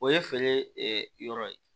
O ye feere yɔrɔ ye